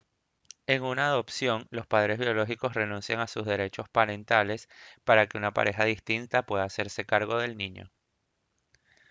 en una adopción los padres biológicos renuncian a sus derechos parentales para que una pareja distinta pueda hacerse cargo del niño